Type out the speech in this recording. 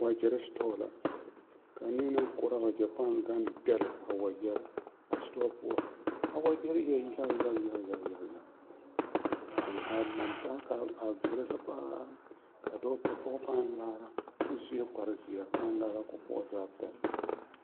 Wagyɛre store la ka a neɛ naŋ koɔrɔ a wagyɛre paa gaŋ dɛlle a wagyɛre a store poɔ a wagyɛre e la yaga yaga yaga yaga yaga yaga ka a laŋ taa ka a veɛlɛ la paa ka dɔɔta pɔge paa laara kyɛ o sue kparezeɛ a paa laara ka o poɔ zaa paa pɛlle.